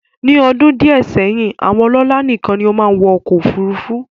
Ní ọdún díẹ̀ sẹ́yìn, àwọn ọlọ́lá nìkan ni ó máa ń wọ ọkọ̀ òfurufú